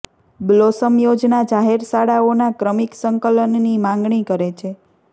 blossom યોજના જાહેર શાળાઓના ક્રમિક સંકલનની માંગણી કરે છે